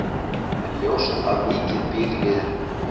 En ljóst að mikið býr í liðinu.